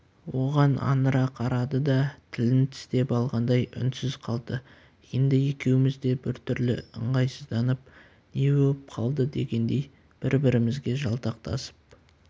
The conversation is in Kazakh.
оған аңыра қарады да тілін тістеп алғандай үнсіз қалды енді екеуміз де бір түрлі ыңғайсызданып не боп қалды дегендей бір-бірімізге жалтақтасып